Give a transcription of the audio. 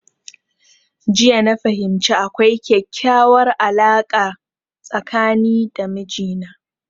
Jiya na fahimci akwai kekyauwar alarka tsakani da mijina